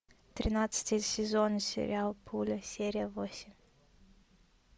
тринадцатый сезон сериал пуля серия восемь